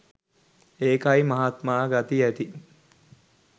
ඒකයි මහත්මා ගති ඇති